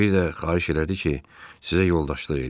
Bir də xahiş elədi ki, sizə yoldaşlıq eləyim.